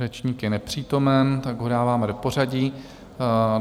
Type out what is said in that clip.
Řečník je nepřítomen, tak ho dáváme do pořadí.